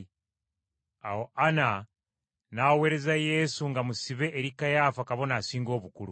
Awo Ana n’aweereza Yesu nga musibe eri Kayaafa Kabona Asinga Obukulu.